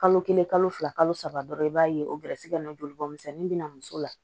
Kalo kelen kalo fila kalo saba dɔrɔn i b'a ye o gɛrɛsɛgɛ in nɔ joli bɔnmisɛnin bɛ na muso la